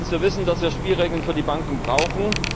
Erstens zu wissen, dass wir Spielregeln für die Banken brauchen.